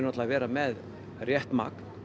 að vera með rétt magn